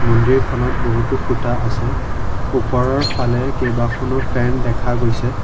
মন্দিৰখনত বহুতো খুঁটা আছে ওপৰৰ ফালে কেইবাখনো ফেন দেখা গৈছে।